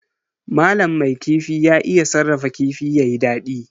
Malam mai kifi ya iya sarrafa kifi yayi dadi.